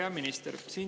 Hea minister!